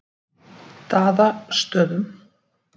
Daðastöðum